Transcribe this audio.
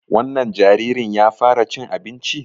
Wannan jaririn ya fara cin abinci?